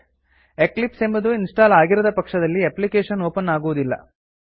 Eclipse ಎಂಬುದು install ಆಗಿರದ ಪಕ್ಷದಲ್ಲಿ ಎಪ್ಲಿಕೇಶನ್ ಒಪನ್ ಆಗುವುದಿಲ್ಲ